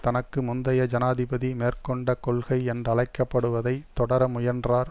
தனக்கு முந்தைய ஜனாதிபதி மேற்கொண்ட கொள்கை என்றழைக்கப்படுவதை தொடர முயன்றார்